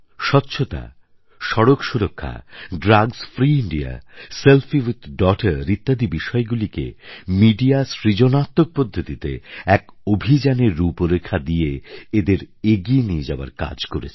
স্বচ্ছতা সড়ক সুরক্ষা drugs free India selfie with daughter ইত্যাদি বিষয়গুলিকে মিডিয়া সৃজনাত্মক পদ্ধতিতে এক অভিযানের রূপরেখা দিয়ে এদের এগিয়ে নিয়ে যাওয়ার কাজ করেছে